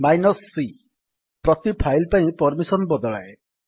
c ପ୍ରତି file ପାଇଁ permission ବଦଳାଏ